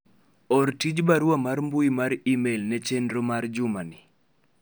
or tij barua mar mbui mar email ne tim na chenro mar juma ni